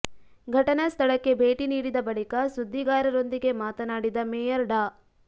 ಘಟನಾ ಸ್ಥಳಕ್ಕೆ ಭೇಟಿ ನೀಡಿದ ಬಳಿಕ ಸುದ್ದಿಗಾರ ರೊಂದಿಗೆ ಮಾತನಾಡಿದ ಮೇಯರ್ ಡಾ